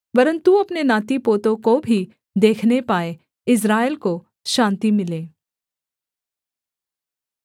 वरन् तू अपने नातीपोतों को भी देखने पाए इस्राएल को शान्ति मिले